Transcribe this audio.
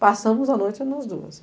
Passamos a noite nós duas.